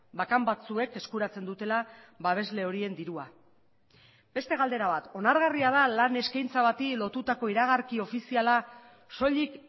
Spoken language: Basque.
bakan batzuek eskuratzen dutela babesle horien dirua beste galdera bat onargarria da lan eskaintza bati lotutako iragarki ofiziala soilik